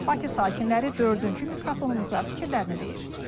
Bakı sakinləri dördüncü mikrofonumuza fikirlərini deyir.